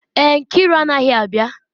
Èè, Nkiru anaghị abịa